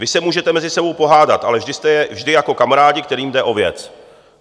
Vy se můžete mezi sebou pohádat, ale vždy jako kamarádi, kterým jde o věc."